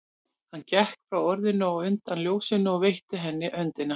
Hann gekk frá orðinu og undan ljósinu og rétti henni höndina.